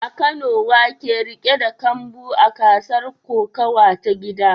A Kano wa ke riƙe da kambu a gasar kokawa ta gida?